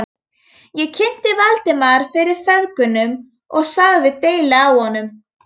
Ég kynnti Valdimar fyrir feðgunum og sagði deili á honum.